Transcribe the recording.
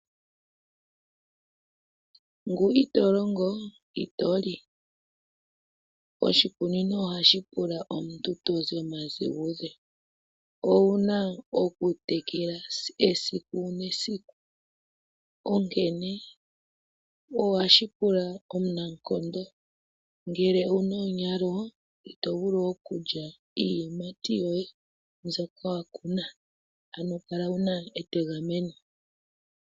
Ngu ito longo ito li. Oshikunino oha shi pula omuntu tozi omadhiguze. Owu na okutekela esiku, nesiku onkene, oha shi pula omunankondo. Ngele owu na onyalo, ito vulu okulya iiyimati yoye, mbyoka wa kuna. Ano kala wuna etegameno.